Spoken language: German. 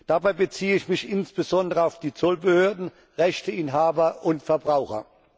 Dabei beziehe ich mich insbesondere auf die Zollbehörden, Rechteinhaber und Verbraucher.